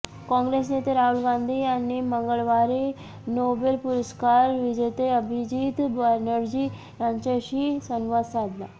कॉंग्रेस नेते राहुल गांधी यांनी मंगळवारी नोबेल पुरस्कार विजेते अभिजीत बॅनर्जी यांच्याशी संवाद साधला